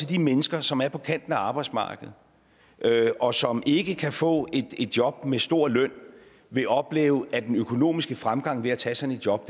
de mennesker som er på kanten af arbejdsmarkedet og som ikke kan få et job med en stor løn vil opleve at den økonomiske fremgang ved at tage sådan et job